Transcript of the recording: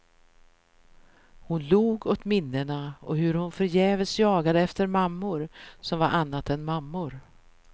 Hon log åt minnena och hur hon förgäves jagade efter mammor som var annat än mammor.